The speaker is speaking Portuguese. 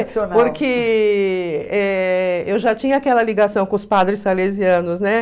Porque eh eu já tinha aquela ligação com os padres salesianos, né?